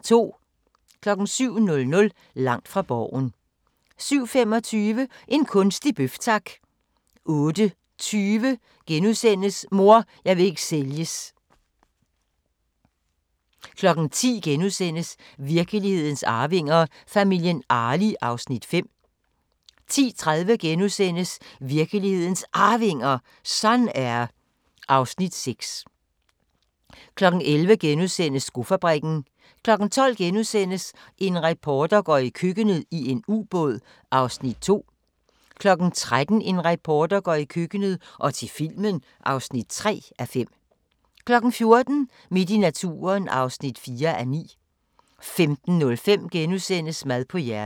07:00: Langt fra Borgen 07:25: En kunstig bøf, tak! 08:20: Mor, jeg vil ikke sælges * 10:00: Virkelighedens arvinger: Familien Arli (Afs. 5)* 10:30: Virkelighedens Arvinger: Sun-Air (Afs. 6)* 11:00: Skofabrikken * 12:00: En reporter går i køkkenet - i en ubåd (2:5)* 13:00: En reporter går i køkkenet – og til filmen (3:5) 14:00: Midt i naturen (4:9) 15:05: Mad på hjernen *